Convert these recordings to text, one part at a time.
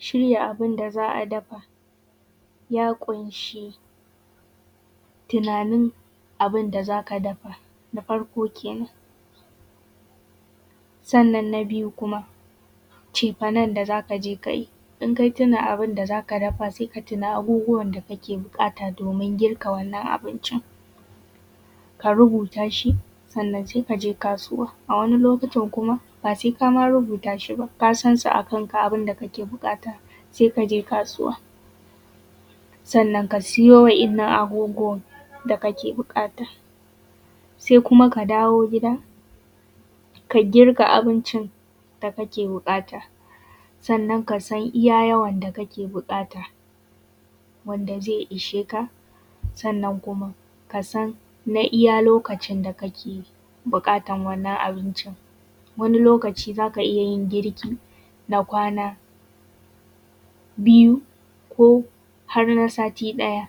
Shirya abun da za a dafa ya ƙunshi tunanin abun da za ka dafa. Na farko kenan, sannan na biyu kuma cefanan da za ka je kayi, in ka tuna abun da za ka dafa sai ka tuna abubuwan da kake buƙata, domin girka wannan abincin, ka rubuta shi, sannan sai ka je kasuwa. A wani lokutan kuma ba ma sai ka rubuta shi ba kasan su a kan ka. Abun da ka ke buƙata, sai ka je kasuwa, sannan ka siyo wa’innan abubuwan da ka ke buƙata, sai kuma ka dawo gida ka girka abincin da kake buƙata. Sannan ka san iya yawan da ka ke buƙata, wanda zai ishe ka. Sannan kuma ka san na iya lokacin da ka ke buƙatan wannan abincin. Wani lokaci za ka iya yin girki na kwana biyu, ko har na sati ɗaya.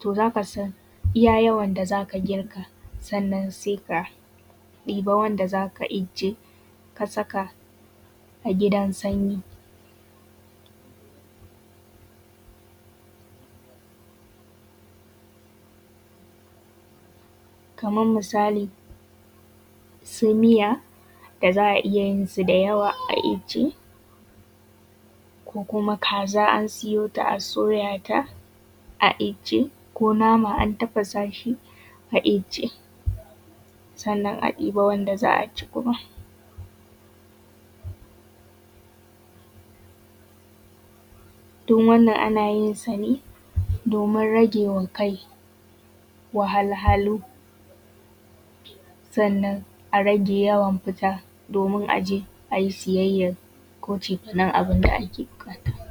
To za ka san iya yawan da za ka girka, sannan sai ka ɗiba wanda zaka ijje, ka saka a gidan sanyi. Kaman misali, su miya da za a iyayinsu da yawa a ijje, ko kuma kaza an siyo ta a soya ta a ijje, ko nama an tafasa shi a ijje, sannan a ɗiba wanda za a ci, kuma duk wannan ana yin sa ne domin rage wa kai wahalhalu. Sannan a rage yawan fita domin a je a yi siyayyan ko cefanan abun da ake buƙata.